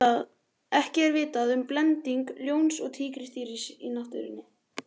ekki er vitað um blending ljóns og tígrisdýrs í náttúrunni